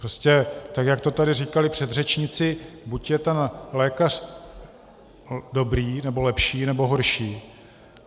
Prostě tak, jak to tady říkali předřečníci, buď je ten lékař dobrý, nebo lepší, nebo horší.